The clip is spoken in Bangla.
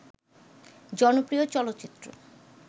জনপ্রিয় চলচ্চিত্র